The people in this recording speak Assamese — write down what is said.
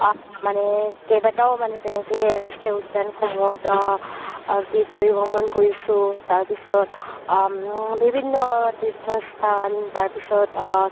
আ মানে কেইবাতাও মানে তেনেকে ৰাষ্ট্ৰীয় উদ্যান সমুহত অ পৰিভ্ৰমণ কৰিছো তাৰ পিছত আ বিভিন্ন তীৰ্থস্থান আ